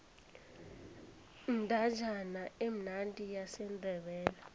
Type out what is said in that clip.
indatjana emnandi yesindebele